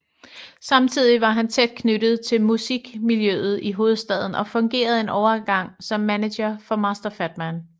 Samtidig var han tæt knyttet til musikmiljøet i hovedstaden og fungerede en overgang som manager for Master Fatman